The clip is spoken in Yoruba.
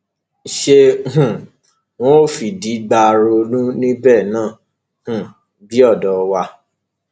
ṣé um wọn ń fìdí gbá róòlù níbẹ náà um bíi odò wa